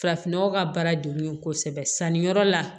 Farafinnɔgɔ ka baara de ye kosɛbɛ sanni yɔrɔ la